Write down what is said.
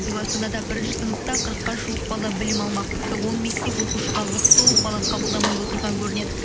биыл астанада бірінші сыныпта қырыққа жуық бала білім алмақ тіпті он мектеп оқушыға лық толып бала қабылдамай отырған көрінеді